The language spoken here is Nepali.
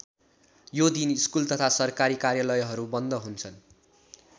यो दिन स्कुल तथा सरकारी कार्यालयहरू बन्द हुन्छन्।